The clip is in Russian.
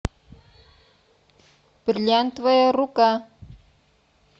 бриллиантовая рука